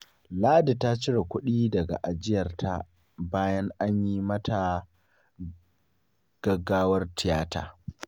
Ladi ta cire kuɗi daga ajiyarta bayan an yi mata gaggawar tiyata.